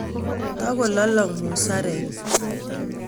tokololong musarek